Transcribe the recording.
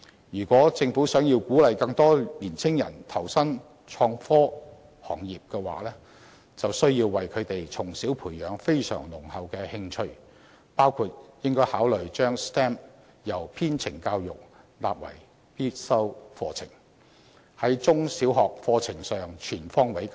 如果政府想鼓勵更多年青人投身創科行業，就必須為他們從小培養非常濃厚的興趣，包括應考慮把 STEM 相關的編程教育納為必修課程，在中小學課程上全方面加強。